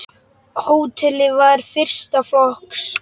Hótelið var fyrsta flokks.